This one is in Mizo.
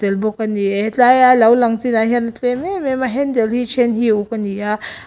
bawk a ni e tlaia lo a lang chinah hian a tlem em em a hendle hi a then hi a uk a ni a--